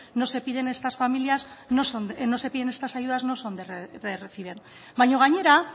no se piden estas ayudas no son de recibo baina gainera